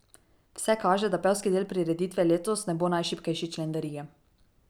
Vse kaže, da pevski del prireditve letos ne bo najšibkejši člen verige.